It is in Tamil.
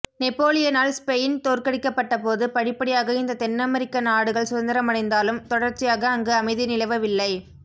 நெப்போலியனால் ஸ்பெயின் தோற்கடிக்கப்பட்டபோது படிப்படியாக இந்த தென்னமெரிக்க நாடுகள் சுதந்திரமடைந்தாலும் தொடர்ச்சியாக அங்கு அமைதி நிலவவில்லை